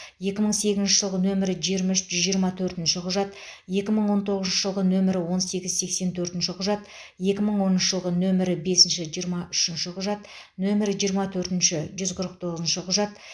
екі мың сегізінші жылғы нөмірі жиырма үш жүз жиырма төртінші құжат екі мың он тоғызыншы жылғы нөмірі он сегіз сексен төртінші құжат екі мың оныншы жылғы нөмірі бесінші жиырма үшінші құжат нөмірі жиырма төртінші жүз қырық тоғызыншы құжат